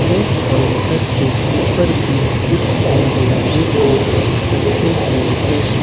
और काउंटर के ऊपर भी कुछ रंग बिरंगे सूट रखे हुए हैं।